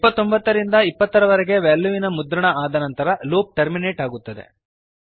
29 ರಿಂದ 20 ರವರೆಗೆ ವೆಲ್ಯೂವಿನ ಮುದ್ರಣ ಆದ ನಂತರ ಲೂಪ್ ಟರ್ಮಿನೇಟ್ ಆಗುತ್ತದೆ